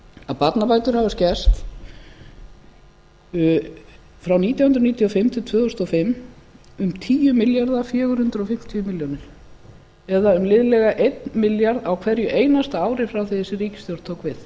að barnabætur hafa skerst frá nítján hundruð níutíu og fimm til tvö þúsund og fimm um tíu milljarða og fjögur hundruð fimmtíu milljónir eða um liðlega einn milljarð á hverju einasta ári frá því þessi ríkisstjórn tók við